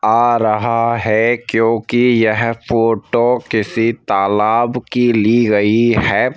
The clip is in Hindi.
आ रहा है क्योंकि यह फोटो किसी तालाब की ली गई है।